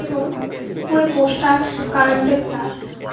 এবং উপরে পোস্টার কারেন্টের তার--